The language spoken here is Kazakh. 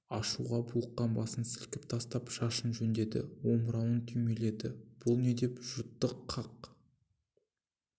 ашуға булыққан басын сілкіп тастап шашын жөндеді омырауын түймеледі бұл не деп жүртты қақ